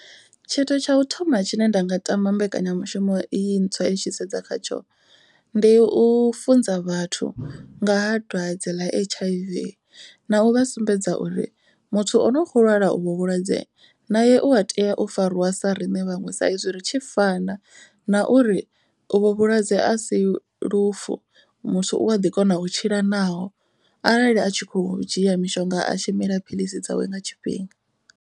Tshithu tsha u thoma tshine nda nga tama mbekanyamushumo iyi ntswa i tshi sedza khatsho. Ndi u funza vhathu nga ha dwadze ḽa H_I_V na u vha sumbedza uri muthu o no kho lwala uvhu vhulwadze na e u a tea u fariwa sa riṋe vhaṅwe. Sa izwi ri tshi fana na uri u vho vhulwadze a si lufu. Muthu u a ḓi kona u tshila naho arali a tshi kho dzhia mishonga a tshi mila phiḽisi dzawe nga tshifhinga.